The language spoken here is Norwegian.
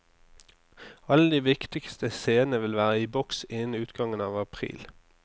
Alle de viktigste scenene vil være i boks innen utgangen av april.